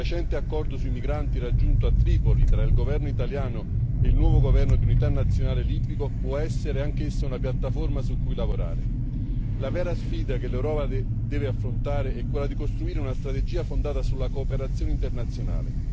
Il recente accordo sui migranti raggiunto a Tripoli tra il governo italiano il nuovo governo di unità nazionale libico può essere anch'esso una piattaforma su cui lavorare. La vera sfida che l'Europa deve affrontare è quella di costruire una strategia fondata sulla cooperazione internazionale.